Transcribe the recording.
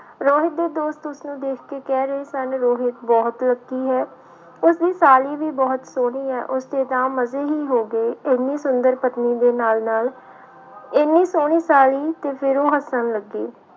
ਰੋਹਿਤ ਦੇ ਦੋਸਤ ਉਸਨੂੰ ਦੇਖ ਕੇ ਕਹਿ ਰਹੇ ਸਨ ਰੋਹਿਤ ਬਹੁਤ lucky ਹੈ, ਉਸਦੀ ਸਾਲੀ ਵੀ ਬਹੁਤ ਸੋਹਣੀ ਹੈ, ਉਸਦੇ ਤਾਂ ਮਜ਼ੇ ਹੀ ਹੋ ਗਏ, ਇੰਨੀ ਸੁੰਦਰ ਪਤਨੀ ਦੇ ਨਾਲ ਨਾਲ ਇੰਨੀ ਸੋਹਣੀ ਸਾਲੀ ਤੇ ਫਿਰ ਉਹ ਹੱਸਣ ਲੱਗੇ।